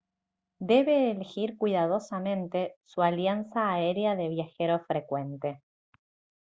debe elegir cuidadosamente su alianza aérea de viajero frecuente